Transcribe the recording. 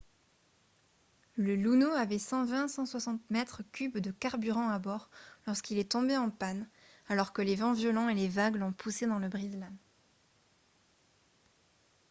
le luno avait 120-160 mètres cubes de carburant à bord lorsqu'il est tombé en panne alors que les vents violents et les vagues l'ont poussé dans le brise-lames